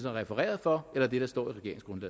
er refereret for eller det der står